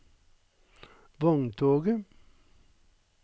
vogntoget